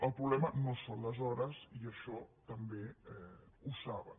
el problema no són les hores i això també ho saben